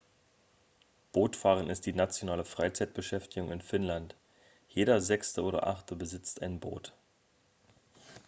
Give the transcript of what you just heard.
bootfahren ist die nationale freizeitbeschäftigung in finnland jeder sechste oder achte besitzt ein boot